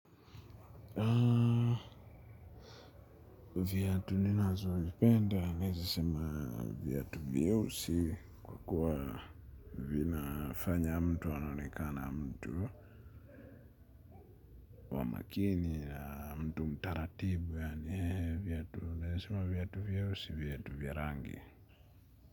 Viatu ninazovipenda naweza sema viatu vyeusi kwa kuwa vinafanya mtu anaonekana mtu wa makini na mtu mtaratibu yaani viatu naweza sema viatu vyeusi viatu vya rangi.